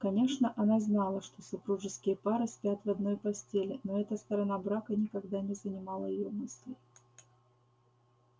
конечно она знала что супружеские пары спят в одной постели но эта сторона брака никогда не занимала её мыслей